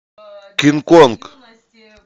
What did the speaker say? кинг конг